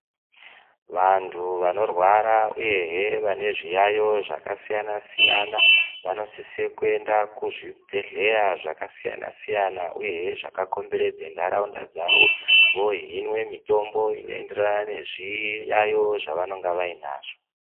Vantu vanorwara uyehe vane zviyaiyo zvakasiyana siyana vanosise kuenda kuzvibhedhlera zvakasiyana siyana uyehe zvakakomberedza nharaunda dzavo voohinwe mitombo inoenderane nezviyaiyo zvavanenge vainazvo.